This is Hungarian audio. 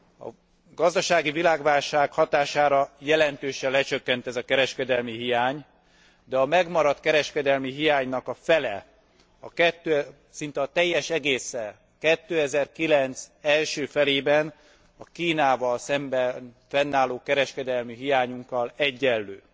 A gazdasági világválság hatására jelentősen lecsökkent ez a kereskedelmi hiány, de a megmaradt kereskedelmi hiánynak a fele, szinte a teljes egésze 2009 első felében a Kínával szemben fennálló kereskedelmi hiányunkkal egyenlő.